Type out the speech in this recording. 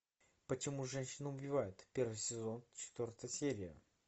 почему женщины убивают первый сезон четвертая серия